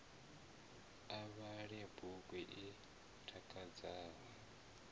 a vhale bugu i takadzaho